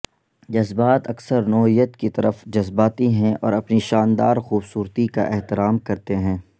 جذبات اکثر نوعیت کی طرف جذباتی ہیں اور اپنی شاندار خوبصورتی کا احترام کرتے ہیں